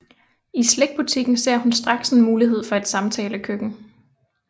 I slikbutikken ser hun straks en mulighed for et samtalekøkken